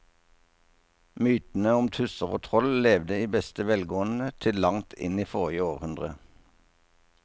Mytene om tusser og troll levde i beste velgående til langt inn i forrige århundre.